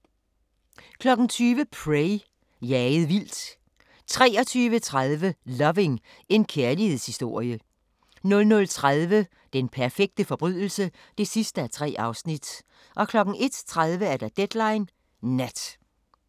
20:00: Prey – jaget vildt 23:30: Loving – en kærlighedshistorie 00:30: Den perfekte forbrydelse (3:3) 01:30: Deadline Nat